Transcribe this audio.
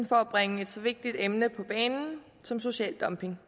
for at bringe et så vigtigt emne som social dumping